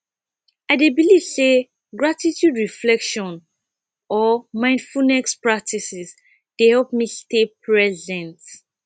i dey believe say gratitude reflection or mindfulness practices dey help me stay present